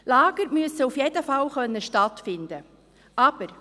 Lager müssen auf jeden Fall stattfinden können.